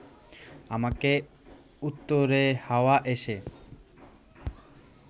আমাকে উত্তুরে হাওয়া এসে